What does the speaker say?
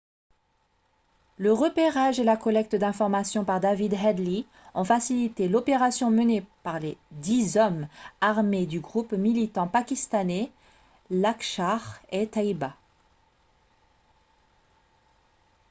le repérage et la collecte d'informations par david headley ont facilité l'opération menée par les dix hommes armés du groupe militant pakistanais laskhar-e-taiba